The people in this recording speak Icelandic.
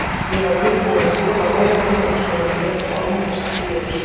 Ég var tilbúinn að þola veröldina eins og hún er, og án þess að bifast.